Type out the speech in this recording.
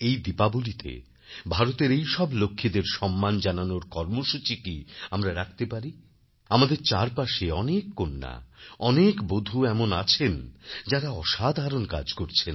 এই দীপাবলীতে ভারতের এইসব লক্ষ্মীদের সম্মান জানানোর কর্মসূচি কিআমরা রাখতে পারি আমাদের চারপাশে অনেক কন্যা অনেক বধূ এমন আছেন যাঁরা অসাধারণ কাজ করছেন